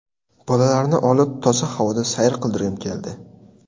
Bolalarni olib toza havoda sayr qildirgim keldi.